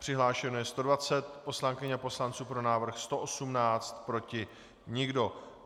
Přihlášeno je 120 poslankyň a poslanců, pro návrh 118, proti nikdo.